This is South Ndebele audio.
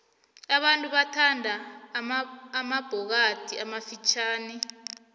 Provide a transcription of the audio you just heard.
abantu bathanda amabhokathi amafitjhani